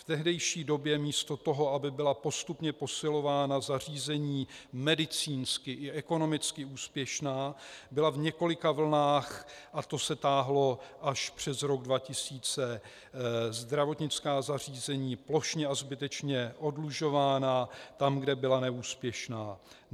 V tehdejší době místo toho, aby byla postupně posilována zařízení medicínsky i ekonomicky úspěšná, byla v několika vlnách, a to se táhlo až přes rok 2000, zdravotnická zařízení plošně a zbytečně oddlužována tam, kde byla neúspěšná.